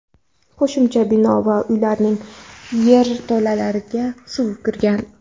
qo‘shimcha bino va uylarning yerto‘lalariga suv kirgan.